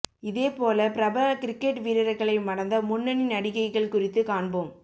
இதே போல பிரபல கிரிக்கெட் வீரர்களை மணந்த முன்னணி நடிகைகள் குறித்து காண்போம்